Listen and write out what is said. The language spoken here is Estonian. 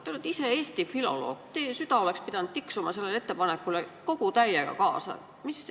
Te olete ise eesti filoloog, teie süda oleks pidanud tiksuma sellele ettepanekule kogu täiega kaasa.